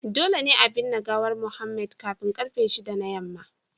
Dole ne a binne gawar Mohammed kafin karfe 6 na yamma